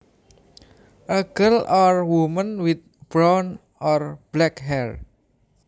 A girl or woman with brown or black hair